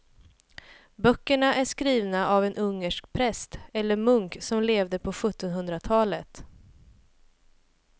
Böckerna är skrivna av en ungersk präst eller munk som levde på sjuttonhundratalet.